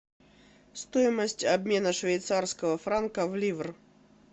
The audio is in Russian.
стоимость обмена швейцарского франка в ливр